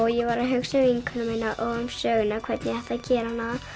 ég var að hugsa um vinkonu mína og söguna hvernig ég ætti að gera hana